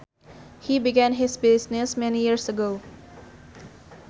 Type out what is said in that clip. He began his business many years ago